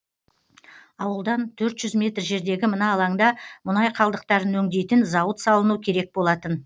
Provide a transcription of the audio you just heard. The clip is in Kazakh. ауылдан төрт жүз метр жердегі мына алаңда мұнай қалдықтарын өңдейтін зауыт салыну керек болатын